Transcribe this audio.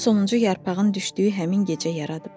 Onu sonuncu yarpağın düşdüyü həmin gecə yaradıb.